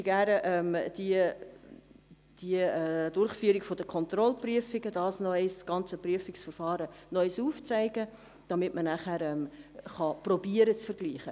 Wir zeigen gerne die Durchführung der Kontrollprüfungen auf, das ganze Verfahren der Kontrollprüfung, damit man nachher versuchen kann, einen Vergleich zu machen.